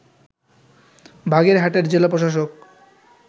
বাগেরহাটের জেলা প্রশাসক